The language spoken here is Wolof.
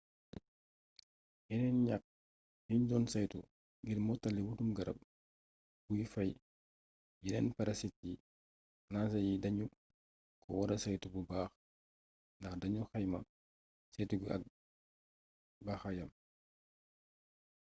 yeneen ñaq yiñ doon saytu ngir mottali wutum garab guy faay yeneen parasite yi ranger yi dañu ko wara saytu bu baax ndax dañu xayma saytu gi ak baaxaayam